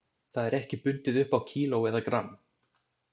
Það er ekki bundið upp á kíló eða gramm.